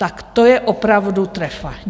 Tak to je opravdu trefa!